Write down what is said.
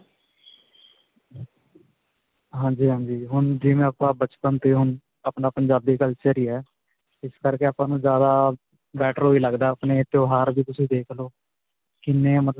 ਹਾਂਜੀ, ਹਾਂਜੀ. ਹੁਣ ਜਿਵੇਂ ਆਪਾਂ ਬਚਪਨ ਤੇ ਹੁਣ ਆਪਣਾ ਪੰਜਾਬੀ culture ਹੀ ਹੈ. ਇਸ ਕਰਕੇ ਆਪਾਂ ਨੂੰ ਜਿਆਦਾ better ਓਹੀ ਲੱਗਦਾ ਆਪਣੇ ਤਿਉਹਾਰ ਜ਼ੇ ਤੁਸੀ ਦੇਖ ਲੋ. ਕਿੰਨੇ